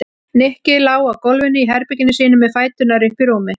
Nikki lá á gólfinu í herberginu sínu með fæturna uppi í rúmi.